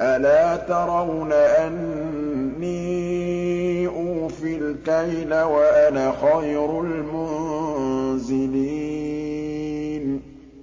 أَلَا تَرَوْنَ أَنِّي أُوفِي الْكَيْلَ وَأَنَا خَيْرُ الْمُنزِلِينَ